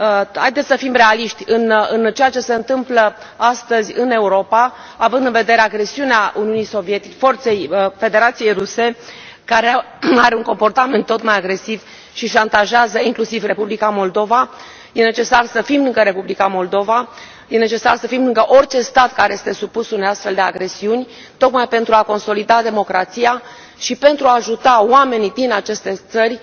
Haideți să fim realiști în ceea ce se întâmplă astăzi în Europa, având în vedere agresiunea forței Federației Ruse, care are un comportament tot mai agresiv, și șantajează inclusiv Republica Moldova, e necesar să fim lângă Republica Moldova, e necesar să fim lângă orice stat care este supus unei astfel de agresiuni, tocmai pentru a consolida democrația și pentru a ajuta oamenii din aceste țări